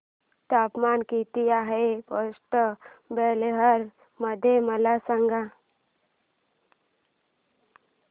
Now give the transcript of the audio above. तापमान किती आहे पोर्ट ब्लेअर मध्ये मला सांगा